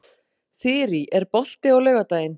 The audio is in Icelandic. Þyrí, er bolti á laugardaginn?